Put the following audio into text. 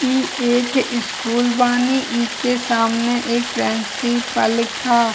ई एक स्कुल बानी इके सामने एक प्रिंसिपल का --